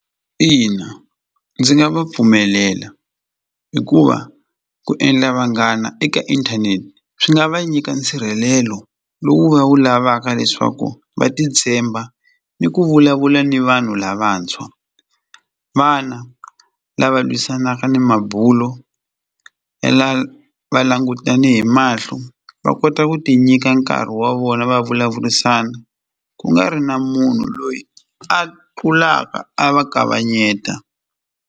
Ina ndzi nga va pfumelela hikuva ku endla vanghana eka inthanete swi nga va nyika nsirhelelo lowu va wu lavaka leswaku va titshemba ni ku vulavula ni vanhu lavantshwa vana lava lwisanaka ni mabulo ya la va langutane hi mahlo va kota ku ti nyika nkarhi wa vona va vulavurisana ku nga ri na munhu loyi a tlulaka a va kavanyeta.